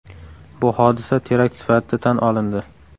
Bu hodisa terakt sifatida tan olindi.